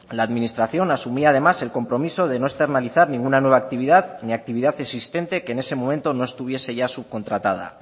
la administración asumía además el compromiso de no externalizar ninguna nueva actividad ni actividad existente que en ese momento no estuviese ya subcontratada